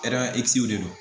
de do